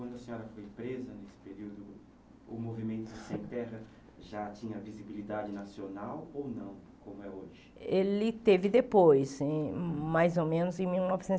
Quando a senhora foi presa nesse período, o movimento Sem Terra já tinha visibilidade nacional ou não, como é hoje? Ele teve depois em mais ou menos em mil novecentos